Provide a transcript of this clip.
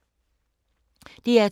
DR2